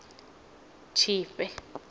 tshifhe